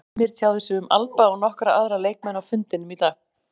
Heimir tjáði sig um Alba og nokkra aðra leikmenn á fundinum í dag.